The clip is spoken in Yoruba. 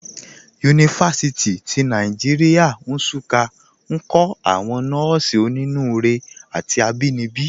Yunifasiti ti Nàìjíríà, Nsụ́ká, nkọ̀ àwọn nọ́ọ̀sí ọ̀nínúurè àti àbínibí.